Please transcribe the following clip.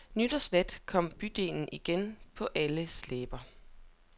Nytårsnat kom bydelen igen på alles læber.